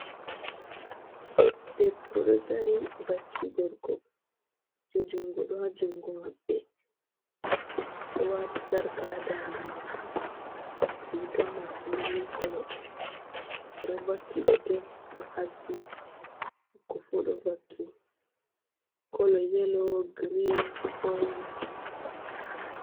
Debbo do dari vaki gorko kuje jungo do ha jungo mabbe do wati sarka ha dande mako rigam mako mili kolo odo vaki gudel do haddi ko fo do vaki kolo yelo green orange.